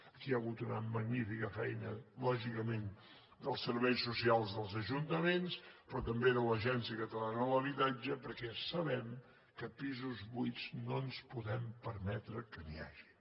aquí hi ha hagut una magnífica feina lògicament dels serveis socials dels ajuntaments però també de l’agència catalana de l’habitatge perquè ja sabem que de pisos buits no ens podem permetre que n’hi hagi